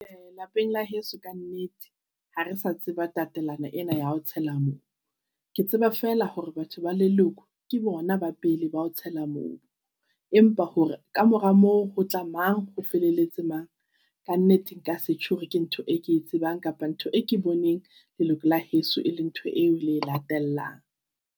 Lapeng la heso ka nnete, ha re sa tseba tatelano ena ya ho tshela mobu. Ke tseba fela hore batho ba leloko ke bona ba pele ba ho tshela mobu. Empa hore kamora moo ho tla mang? Ho mang? Ka nnete nka se tjho hore ke ntho e ke e tsebang kapa ntho e ke boneng leloko la heso eleng ntho eo le e latellang.